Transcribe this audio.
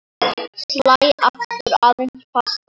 Slæ aftur aðeins fastar.